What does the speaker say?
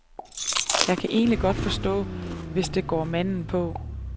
Jeg kan egentlig godt forstå, hvis det går manden på.